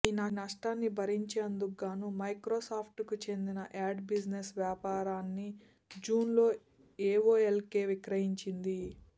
ఈ నష్టాన్ని భరించేందుకు గాను మైక్రోసాఫ్ట్కు చెందిన యాడ్ బిజినెస్ వ్యాపారాన్ని జూన్లో ఏఓఎల్కు విక్రయించింది